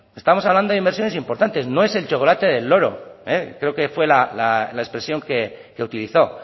estamos hablando de inversiones importantes no es el chocolate del loro creo que fue la expresión que utilizó